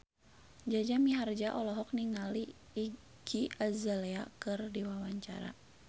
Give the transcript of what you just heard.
Jaja Mihardja olohok ningali Iggy Azalea keur diwawancara